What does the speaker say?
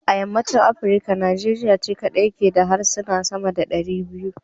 A yammacin Afrika Nigeria ce kadai ke da harsuna sama da 200.